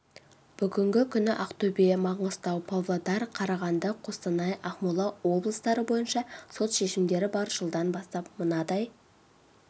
бүгінгі күні ақтөбе маңғыстау павлодар қарағанды қостанай ақмола облыстары бойынша сот шешімдері бар жылдан бастап мынадай